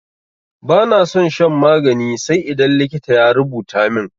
Bana son shan magani sai idan likita ya rubuta min.